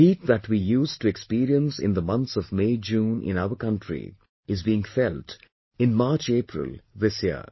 The heat that we used to experience in months of MayJune in our country is being felt in MarchApril this year